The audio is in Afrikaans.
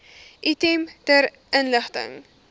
item ter inligting